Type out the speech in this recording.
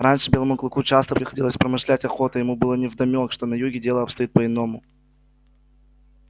раньше белому клыку часто приходилось промышлять охотой и ему было невдомёк что на юге дело обстоит по иному